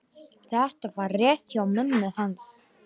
Þetta var rétt hjá mömmu hans.